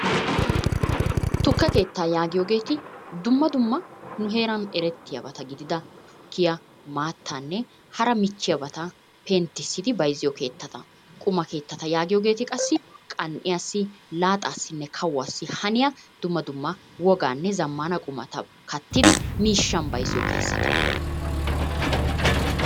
Tukke keettaa yaagiyoogeeti dumma dumma nu heeran erettiyabata gidida tuukkiya, maattaanne hara michchiyabata penttissidi bayizziyo keettata. Quma keettata yaagiyogeeti qassi qan'iyaassi laaxaassinne kawuwassi haniya dumma dumma wogaanne zammana qumata kattidi miishshan bayizziyo keettata.